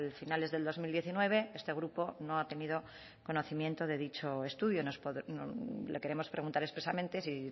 finales del dos mil diecinueve este grupo no ha tenido conocimiento de dicho estudio le queremos preguntar expresamente si